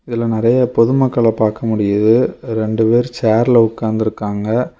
இதுல நெறய பொது மக்கள பாக்க முடியிது ரெண்டு பேரு சேர்ல உக்காந்திருகாங்க.